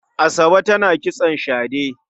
Asabe tana kitson shade.